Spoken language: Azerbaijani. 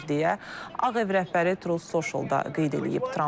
deyə Ağ Ev rəhbəri Truth Social-da qeyd edib.